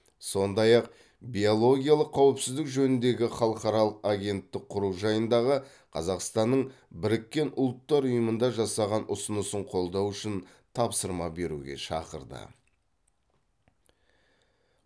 сондай ақ биологиялық қауіпсіздік жөніндегі халықаралық агенттік құру жайындағы қазақстанның біріккен ұлттар ұйымында жасаған ұсынысын қолдау үшін тапсырма беруге шақырды